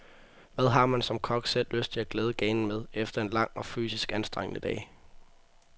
Hvad har man som kok selv lyst til at glæde ganen med, efter en lang og fysisk anstrengende dag?